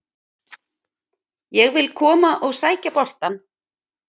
Ég vil koma og sækja boltann.